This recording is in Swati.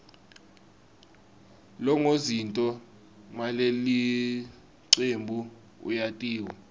longozinti malelicebnbu uyatiwa